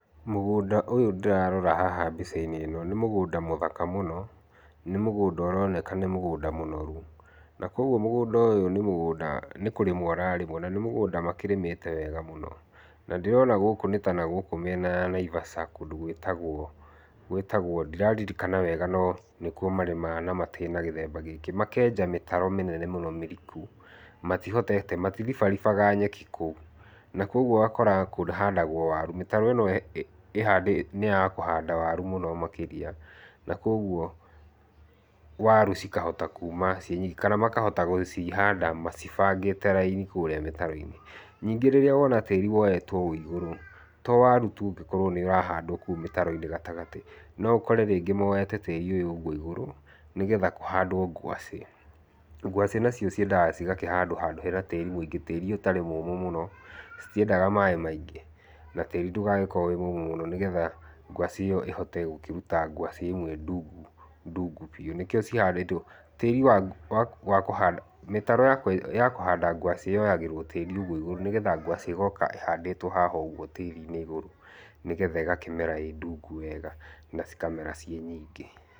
Mũgũnda ũyu ndĩrarora haha mbica-inĩ ĩno nĩ mũgũnda mũthaka mũno. Nĩ mũgũnda ũroneka nĩ mũgũnda mũnoru, na kwoguo mũgũnda ũyũ nĩ mũgũnda nĩ kũrĩmwo ũrarĩmwo na nĩ mũgũnda makĩrĩmĩte wega mũno. Na ndĩrona gũkũ nĩ ta nagũkũ mĩena ya Naivasha, kũndũ gwĩtagwo gwĩtagwo, ndiraririkana wega no nĩ kuo marĩmaga na matĩ na gĩthemba gĩkĩ. Makeenja mĩtaro mĩnene mũno mĩriku. Matihotete, maatiribaribaga nyeki kũu. Na kwoguo ũgakora kũhandagwo waru, mĩtaro ĩno nĩ ya kũhanda waru mũno makĩria, na kwoguo, waru cikahota kuuma ciĩnyingĩ kana makahota gũcihanda macibangĩte raini kũrĩa mĩtaro-inĩ. Ningĩ rĩrĩa wona tĩĩri woetwo ũũ igũrũ, to waru tu ũngĩkorwo nĩ ũrahandwo kũu mĩtaro-inĩ gatagatĩ. No ũkore rĩngĩ moete tĩĩri ũyũ ũguo igũrũ nĩgetha kũhandwo ngwacĩ. Ngwacĩ nacio ciendaga cigakĩhandwo handũ hena tĩĩri mũingĩ, tĩĩri ũtarĩ mũũmũ mũno, citiendaga maaĩ maingĩ, na tĩĩri ndũgagĩkorwo wĩ mũũmũ mũno nĩgetha ngwacĩ ĩyo ĩhote gũkĩruta ngwacĩ ĩmwe ndungu, ndungu biũ. Nĩkĩo cihandĩtwo, tĩĩri wa wa wa kũhanda, mĩtaro ya kũhanda ya kũhanda ngwacĩ ĩyoyagĩrwo tĩĩri ũguo igũrũ nĩgetha ngwacĩ ĩgooka ĩhandĩtwo haha ũguo tĩĩri-inĩ igũrũ. Nĩgetha ĩgakĩmera ĩ ndungu wega na cikamera ciĩ nyingĩ.